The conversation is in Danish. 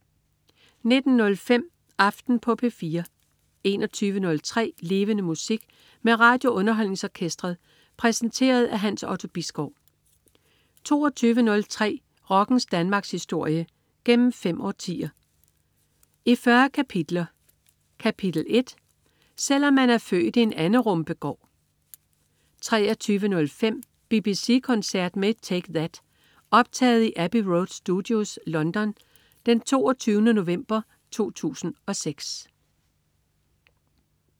19.05 Aften på P4 21.03 Levende Musik. Med RadioUnderholdningsOrkestret. Præsenteret af Hans Otto Bisgaard 22.03 Rockens Danmarkshistorie, gennem fem årtier, i 40 kapitler. Kapitel 1: "Selv om man er født i en anderumpe-gård" 23.05 BBC koncert med Take That. Optaget i Abbey Road Studios, London den 22. november 2006